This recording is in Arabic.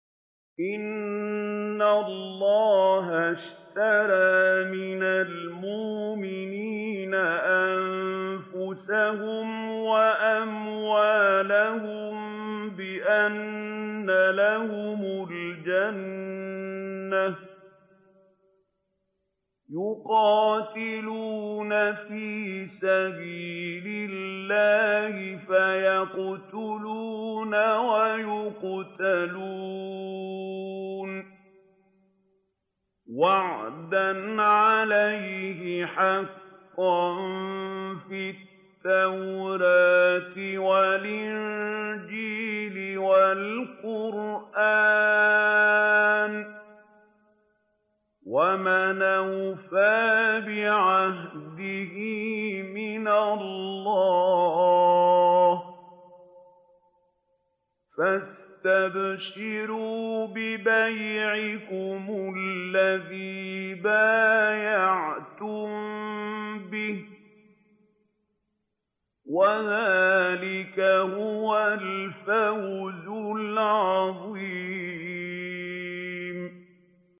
۞ إِنَّ اللَّهَ اشْتَرَىٰ مِنَ الْمُؤْمِنِينَ أَنفُسَهُمْ وَأَمْوَالَهُم بِأَنَّ لَهُمُ الْجَنَّةَ ۚ يُقَاتِلُونَ فِي سَبِيلِ اللَّهِ فَيَقْتُلُونَ وَيُقْتَلُونَ ۖ وَعْدًا عَلَيْهِ حَقًّا فِي التَّوْرَاةِ وَالْإِنجِيلِ وَالْقُرْآنِ ۚ وَمَنْ أَوْفَىٰ بِعَهْدِهِ مِنَ اللَّهِ ۚ فَاسْتَبْشِرُوا بِبَيْعِكُمُ الَّذِي بَايَعْتُم بِهِ ۚ وَذَٰلِكَ هُوَ الْفَوْزُ الْعَظِيمُ